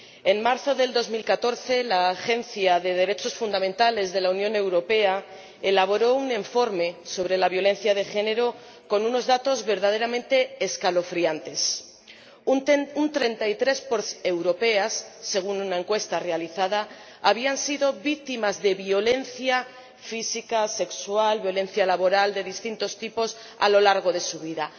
En marzo de 2014, la Agencia de los Derechos Fundamentales de la Unión Europea elaboró un informe sobre la violencia de género con unos datos verdaderamente escalofriantes un 33 de las mujeres europeas, según una encuesta realizada, habían sido víctimas de violencia física, sexual, violencia laboral de distintos tipos a lo largo de su vida.